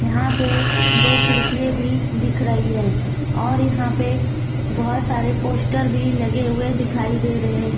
यहां पे दो खिड़कियां भी दिख रही है और यहां पे बहोत सारे पोस्टर भी लगे हुए दिखाई दे रहे--